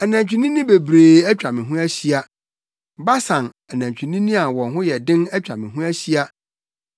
Anantwinini bebree atwa me ho ahyia; Basan anantwinini a wɔn ho yɛ den atwa me ho ahyia.